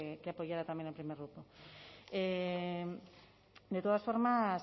que apoyara también el primer grupo de todas formas